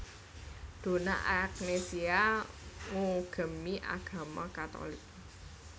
Donna Agnesia ngugemi agama Katolik